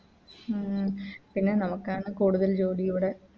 പിന്നെ നമുക്കാണ് കൂടുതൽ ജോലി ഇവിടെ